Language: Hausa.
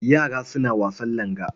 Yara suna wasan langa.